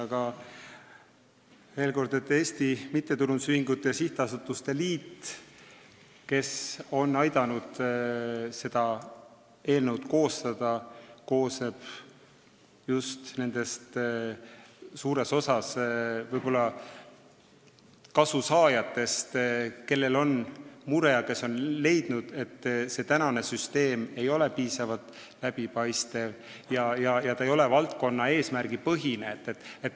Aga veel kord, Eesti Mittetulundusühingute ja Sihtasutuste Liit, kes on aidanud seda eelnõu koostada, koosneb suures osas kasusaajatest, kellel on mure ja kes on leidnud, et süsteem ei ole piisavalt läbipaistev ega valdkonna eesmärgi põhine.